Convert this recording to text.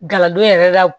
Galadon yɛrɛ la